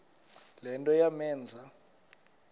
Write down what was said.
le nto yamenza